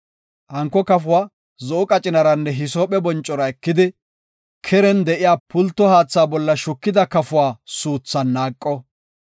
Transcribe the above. Hanko kafuwa zo7o qacinaranne hisoophe boncora ekidi, keren de7iya pulto haatha bolla shukida kafuwa suuthan naaqo.